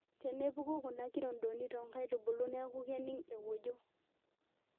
Tenepuku kuna kirondoni tonkaitubulu niaku kening ewojo.